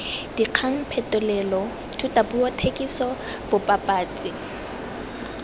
dikgang phetolelo thutapuo thekiso bobapatsi